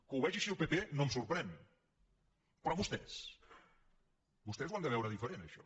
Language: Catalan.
que ho vegi així el pp no em sorprèn però vostès vostès ho han de veure diferent això